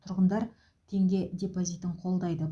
тұрғындар теңге депозитін қолдайды